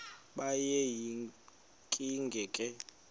kube yinkinge ke